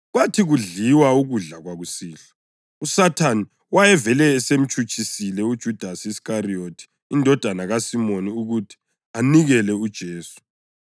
Kwathi kudliwa ukudla kwakusihlwa, uSathane wayevele esemtshutshisile uJudasi Iskariyothi, indodana kaSimoni, ukuthi anikele uJesu.